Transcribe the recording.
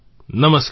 નમસ્કાર